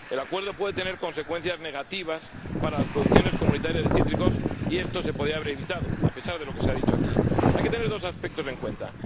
El Acuerdo puede tener consecuencias negativas para las producciones comunitarias de cítricos, y esto se podía haber evitado a pesar de lo que se ha dicho aquí. Hay que tener dos aspectos en cuenta.